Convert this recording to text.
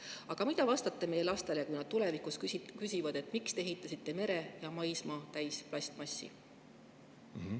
Aga mida vastata meie lastele, kui nad tulevikus küsivad, miks me ehitasime mere ja maismaa plastmassi täis?